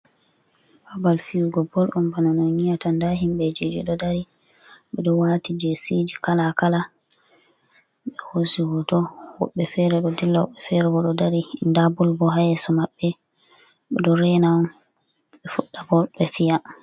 Babal fiyugo bol on bana no on yi'ata nda himɓeji ɗo dari ɓeɗo wati jesi kala kala be hosi hoto woɓɓe fere ɗo dilla woɓɓe fere go ɗo dari nda bol yeso maɓɓe ɓeɗo rena on e fudda bol be fiya.